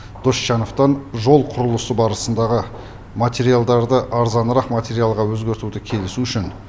досжановтан жол құрылысы барысындағы материалдарды арзанырақ материалға өзгертуді келісу үшін